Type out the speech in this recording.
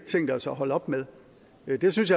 tænkt os at holde op med det jeg synes